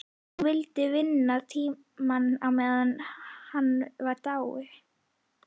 Hún vildi vinna tíma á meðan hann var í dái.